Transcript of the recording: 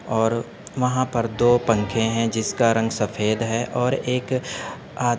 और वहाँ पर दो पंखे है। जिसका रंग सफ़ेद है और एक आ --